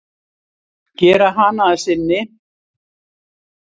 Gera hana að sinni.